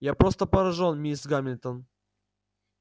я просто поражён мисс гамильтон